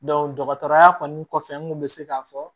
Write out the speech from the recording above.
dɔgɔtɔrɔya kɔni kɔfɛ n kun bɛ se k'a fɔ